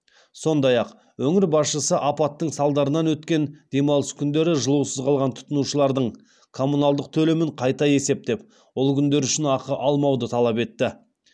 сондай ақ өңір басшысы апаттың салдарынан өткен демалыс күндері жылусыз қалған тұтынушылардың коммуналдық төлемін қайта есептеп ол күндер үшін ақы алмауды талап етті